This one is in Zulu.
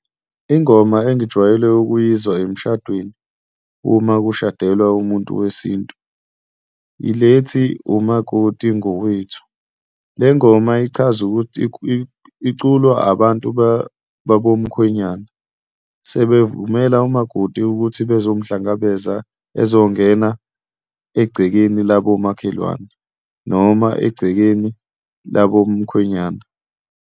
Ingoma engijwayele ukuyizwa emshadweni uma kushadelwa umuntu wesintu yile ethi, umakoti ngowethu. Le ngoma ichaza ukuthi iculwa abantu babomkhwenyana, sebevumela umakoti ukuthi bazomhlangabeza ezongena egcekeni labomakhelwane noma egcekeni labomkhwenyana.